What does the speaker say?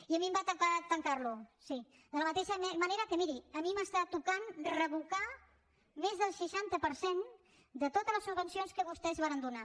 i a mi em va tocar tancarlo sí de la mateixa manera que miri a mi m’està tocant revocar més del seixanta per cent de totes les subvencions que vostès varen donar